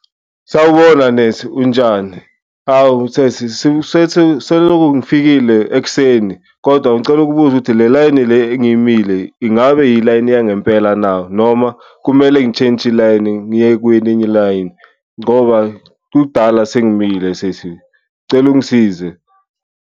Sawubona nesi, unjani? Hawu sesi selokhu ngifikile ekuseni kodwa ngicela ukubuza ukuthi le layini le engiyimile ingabe ilayini yangempela na, noma kumele ngishintshe ilayini ngiye kwelinye ilayini ngoba kudala sengimile sesi cela ungisize.